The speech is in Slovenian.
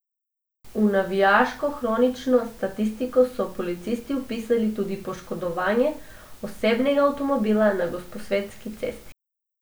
V navijaško kronično statistiko so policisti vpisali tudi poškodovanje osebnega avtomobila na Gosposvetski cesti.